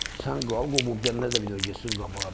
Sən qal, qoy bu birilər də bir dəfə getsin qabağa da.